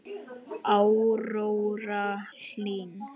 Áróra Hlín.